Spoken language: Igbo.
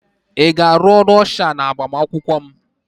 Ị ga-arụ ọrụ ọsha n'agbamakwụkwọ m?